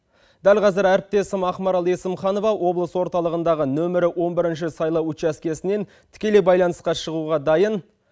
дәл қазір әріптесім ақмарал есімханова облыс орталығындағы нөмірі он бірінші сайлау учаскесінен тікелей байланысқа шығуға дайын